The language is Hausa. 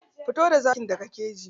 Fito da zakin daga keji.